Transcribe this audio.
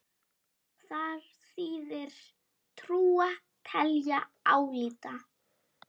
Þar þýðir trúa: telja, álíta.